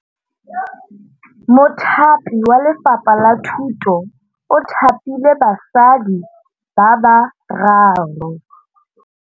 Mothapi wa Lefapha la Thutô o thapile basadi ba ba raro.